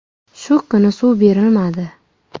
Shu kuni suv berilmadi.